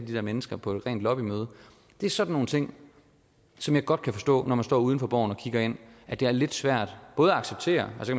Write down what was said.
de der mennesker på et lobbymøde det er sådan nogle ting som jeg godt kan forstå når man står uden for borgen og kigger herind at det er lidt svært både at acceptere og så